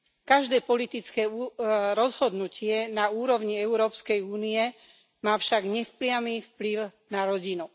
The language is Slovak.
Každé politické rozhodnutie na úrovni Európskej únie má však nepriamy vplyv na rodinu.